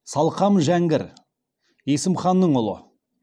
салқам жәңгір есім ханның ұлы